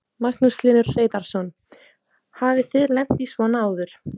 Magnús Hlynur Hreiðarsson: Hafið þið lent í svona áður?